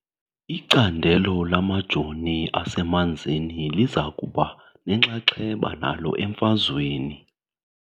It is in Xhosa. Icandelo lamajoo asemanzini liza kuba nenxaxheba nalo emfazweni .